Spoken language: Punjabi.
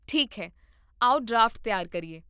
ਠੀਕ ਹੈ, ਆਓ ਡਰਾਫਟ ਤਿਆਰ ਕਰੀਏ